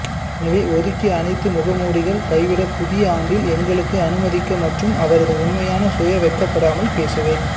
எனவே ஒதுக்கி அனைத்து முகமூடிகள் கைவிட புதிய ஆண்டில் எங்களுக்கு அனுமதிக்க மற்றும் அவரது உண்மையான சுய வெட்கப்படாமல் பேசுவேன்